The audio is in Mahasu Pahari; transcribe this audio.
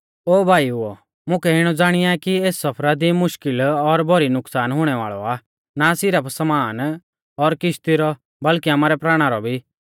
ओ भाईओ मुकै इणौ ज़ाणिया कि एस सफरा दी मुश्कल़ और भौरी नुकसान हुणै वाल़ौ आ ना सिरफ समान और किश्ती रौ बल्कि आमारै प्राणा रौ भी